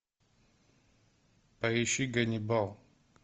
поищи ганнибал